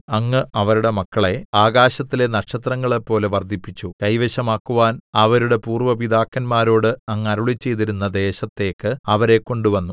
അങ്ങ് അവരുടെ മക്കളെ ആകാശത്തിലെ നക്ഷത്രങ്ങളെപ്പോലെ വർദ്ധിപ്പിച്ചു കൈവശമാക്കുവാൻ അവരുടെ പൂര്‍വ്വ പിതാക്കന്മാരോട് അങ്ങ് അരുളിച്ചെയ്തിരുന്ന ദേശത്തക്ക് അവരെ കൊണ്ടുവന്നു